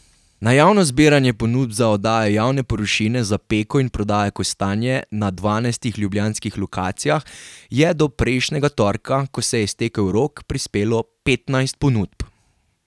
Na javno zbiranje ponudb za oddajo javne površine za peko in prodajo kostanja na dvanajstih ljubljanskih lokacijah je do prejšnjega torka, ko se je iztekel rok, prispelo petnajst ponudb.